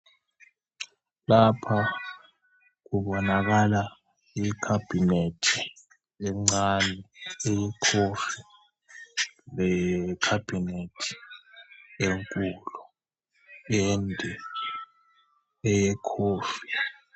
Lapha kubonakala i-cabinet encane eye-coffee le cabinet enkulu ende eye coffee.